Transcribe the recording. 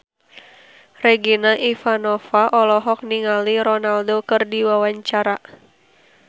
Regina Ivanova olohok ningali Ronaldo keur diwawancara